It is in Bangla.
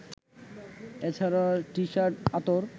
এছাড়া টিশার্ট, আতর